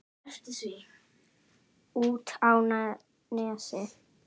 Út á Nesi?